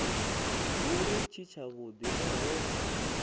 dzule tshi tshavhudi nahone hune